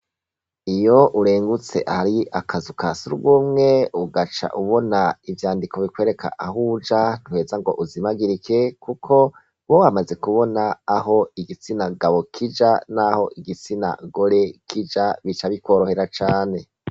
Iyo urengutse ahari akazu ka sugumwe ugaca ubona ivyandiko bikwereka aho uja ntuheza ngo uzimagirike kuko uba wamaze kubona aho igitsina gabo kija naho igitsina gore kija, bica bikorohera cane.